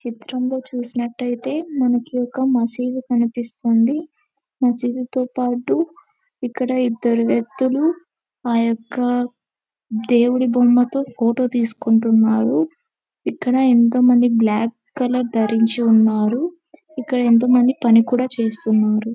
చిత్రంలో చూసినట్టయితే మనకు ఒక మసీదు కనిపిస్తుంది. మసీదు తో పాటు ఇక్కడ ఇద్దరు వ్యక్తులు ఆ యొక్క దేవుడి బొమ్మతో ఫోటో తీసుకుంటున్నారు. ఇక్కడ ఎంతో మంది బ్లాక్ కలర్ ధరించి ఉన్నారు. ఇక్కడ ఎంత మంది పని కూడా చేసుకున్నారు.